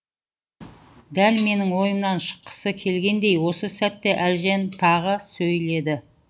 дәл менің ойымнан шыққысы келгендей осы сәтте әлжан тағы сөйледі